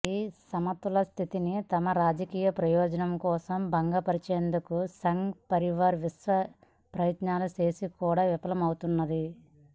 ఈ సమతులన స్థితిని తమ రాజకీయ ప్రయోజనం కోసం భంగపరచేందుకు సంఘ్ పరివార్ విశ్వ ప్రయత్నాలు చేసి కూడా విఫలమవుతున్నది